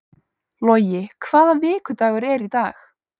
Logi, hvaða vikudagur er í dag?